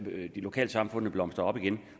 lokalsamfundene blomstrer op igen